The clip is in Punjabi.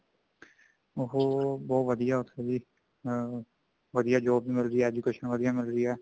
ਉਹ ਬਹੁਤ ਵਧੀਆ ਉੱਥੇ ਦੀ ਅਮ ਵਧੀਆ job ਮਿਲਦੀ ਹੈ ਵਧੀਆ education ਮਿਲਦੀ ਹੈ